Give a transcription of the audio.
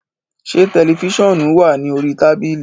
Ṣé tẹlifóonù wà ní orí tábílì?